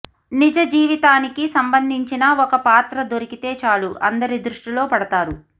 నిజ జీవితానికి సంబందించిన ఒక పాత్ర దొరికితే చాలు అందరి దృష్టిలో పడతారు